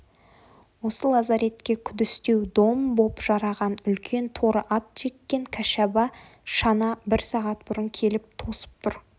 осы лазаретке күдістеу дом боп жараған үлкен торы ат жеккен кәшаба шана бір сағат бұрын келіп тосып тұр